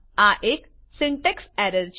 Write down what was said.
આ એક syntax error છે